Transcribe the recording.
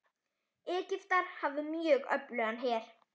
Egyptar hafa mjög öflugan her.